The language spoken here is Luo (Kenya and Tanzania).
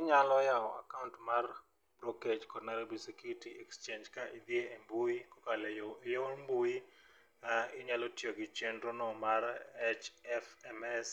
Inyalo yawo akaont mar brokej kod Nairobi Security Exchange ka idhiye e mbui kokalo e yo e yor mbui inyalo tiyo gi chendro no mar HFMS